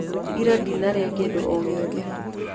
Ira ndinarĩa kĩndũ o gĩothe.